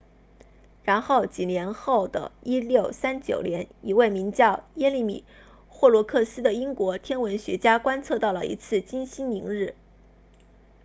然后几年后的1639年一位名叫耶利米霍罗克斯 jeremiah horrocks 的英国天文学家观测到了一次金星凌日